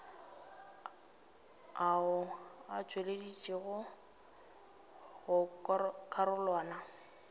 ao a tšweleditšwego go karolwana